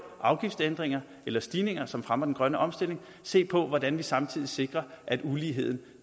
afgiftsændringer eller stigninger som fremmer den grønne omstilling se på hvordan man samtidig sikrer at uligheden